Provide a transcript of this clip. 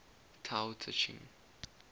tao te ching